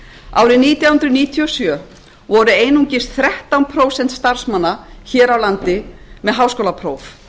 árið nítján hundruð níutíu og sjö voru einungis þrettán prósent starfsmanna hér á landi með háskólapróf